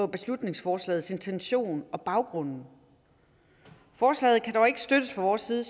beslutningsforslagets intention og baggrunden forslaget kan dog ikke støttes fra vores side